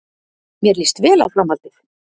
Mér líst vel á framhaldið